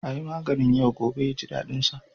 A yi maganin yau gobe ya ji daɗinsa.